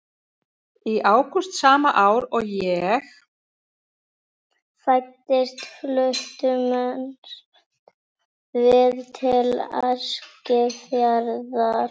Í ágúst sama ár og ég fæddist fluttumst við til Eskifjarðar.